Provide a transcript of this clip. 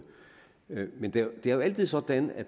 men det er jo altid sådan at